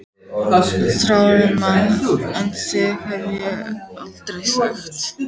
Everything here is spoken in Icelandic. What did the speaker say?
Þrárri mann en þig hef ég aldrei þekkt!